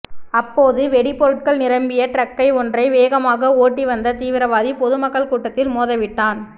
அப்போது வெடிபொருட்கள் நிரம்பிய டிரக்கை ஒன்றை வேகமாக ஓட்டிவந்த தீவிரவாதி பொதுமக்கள் கூட்டத்தில் மோதவிட்டான்